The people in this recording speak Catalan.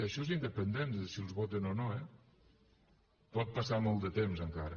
això és independent de si els voten o no eh pot passar molt de temps encara